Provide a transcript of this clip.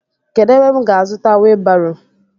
Kedụ ebe m ga azuta wiibaro?